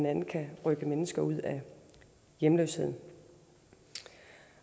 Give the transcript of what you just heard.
andet kan rykke mennesker ud af hjemløsheden